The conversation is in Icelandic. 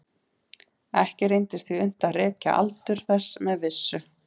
Ekki reyndist því unnt að rekja aldur þess með vissu.